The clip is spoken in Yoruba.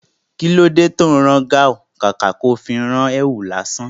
Kilo tí ó ń rán gáhùn, kàkà tó fi rán èwù lásán?